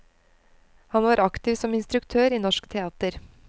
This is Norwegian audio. Han var aktiv som instruktør i norsk teater.